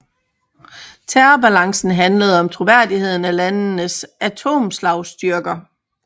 Terrorbalancen handlede om troværdigheden af landenes atomslagstyrker